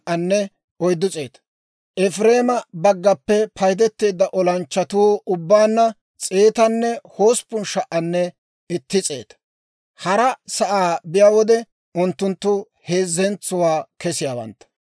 Efireema baggaappe paydeteedda olanchchatuu ubbaanna 108,100. Hara sa'aa biyaa wode, unttunttu heezzentso kesiyaawantta.